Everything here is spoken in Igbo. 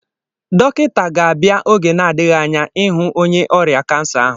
Dọkịta ga-abịa oge n'adịghị anya ịhụ onye ọrịa kansa ahụ